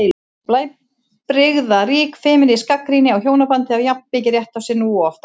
Blæbrigðarík femínísk gagnrýni á hjónabandið á jafn mikinn rétt á sér nú og oft áður.